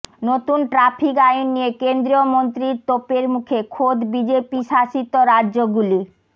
নতুন ট্র্যাফিক আইন নিয়ে কেন্দ্রীয় মন্ত্রীর তোপের মুখে খোদ বিজেপিশাসিত রাজ্যগুলি